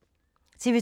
TV 2